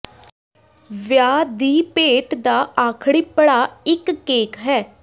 ਵਿਆਹ ਦੀ ਭੇਟ ਦਾ ਆਖਰੀ ਪੜਾਅ ਇਕ ਕੇਕ ਹੈ